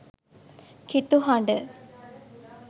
කිතු හඩ